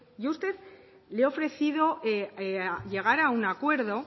yo a usted le he ofrecido llegar a un acuerdo